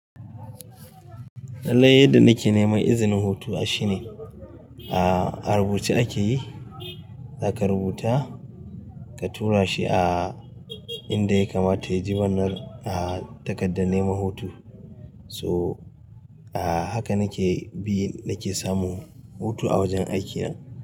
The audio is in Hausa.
Lallai yadda nike nema izinin hutu ashi ne. A rubuce akeyi, zaka rubuta ka tura shi a inda ya kamata ya ji wannan a takardar nema hutu. So haka nike bi nike samu hutu a wajan aiki na.